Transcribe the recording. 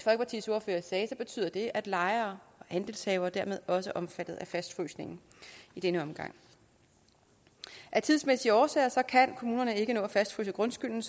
ordfører sagde betyder det at lejere og andelshavere dermed også er omfattet af fastfrysningen i denne omgang af tidsmæssige årsager kan kommunerne ikke nå at fastfryse grundskylden